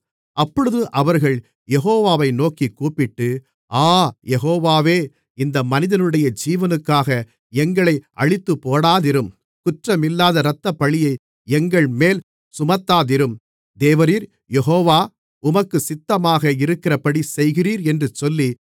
அப்பொழுது அவர்கள் யெகோவாவை நோக்கிக் கூப்பிட்டு ஆ யெகோவாவே இந்த மனிதனுடைய ஜீவனுக்காக எங்களை அழித்துப்போடாதிரும் குற்றமில்லாத இரத்தப்பழியை எங்கள்மேல் சுமத்தாதிரும் தேவரீர் யெகோவா உமக்குச் சித்தமாக இருக்கிறபடி செய்கிறீர் என்று சொல்லி